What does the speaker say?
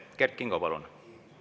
Kert Kingo, palun!